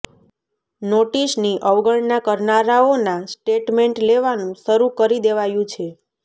નોટિસની અવગણના કરનારાઓના સ્ટેટમેન્ટ લેવાનું શરૂ કરી દેવાયું છે